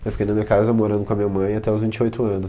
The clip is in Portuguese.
Eu fiquei na minha casa morando com a minha mãe até os vinte e oito anos